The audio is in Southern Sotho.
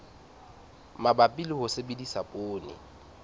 mabapi le ho sebedisa poone